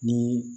Ni